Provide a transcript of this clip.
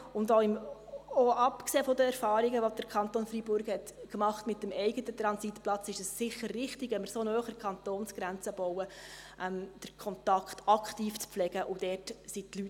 Andererseits, abgesehen von den Erfahrungen, die der Kanton Freiburg mit dem eigenen Transitplatz gemacht hat, ist es sicher richtig, den Kontakt aktiv zu pflegen, wenn wir so nah an der Kantonsgrenze bauen.